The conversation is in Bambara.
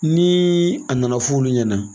Niii a nana f'ɔ olu ɲɛnaa.